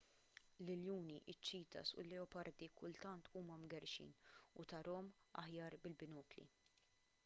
l-iljuni iċ-ċitas u l-leopardi kultant huma mgerrxin u tarahom aħjar bil-binokli